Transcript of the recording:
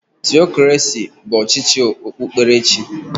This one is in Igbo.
Theokraci bụ ọchịchị okpukperechi.